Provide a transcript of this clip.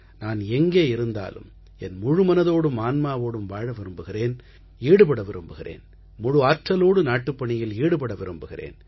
நான் எங்கே இருந்தாலும் என் முழுமனதோடும் ஆன்மாவோடும் வாழ விரும்புகிறேன் ஈடுபட விரும்புகிறேன் முழு ஆற்றலோடு நாட்டுப்பணியில் ஈடுபட விரும்புகிறேன்